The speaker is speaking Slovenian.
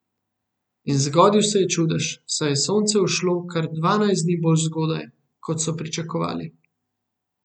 In zgodil se je čudež, saj je sonce vzšlo kar dvanajst dni bolj zgodaj, kot so pričakovali.